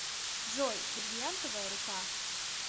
джой брильянтовая рука